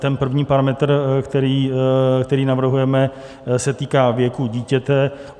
Ten první parametr, který navrhujeme, se týká věku dítěte.